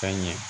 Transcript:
Ka ɲɛ